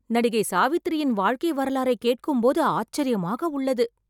நடிகை சாவித்திரியின் வாழ்க்கை வரலாறை கேட்கும் போது ஆச்சரியமாக உள்ளது